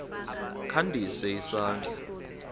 kha ndise isandla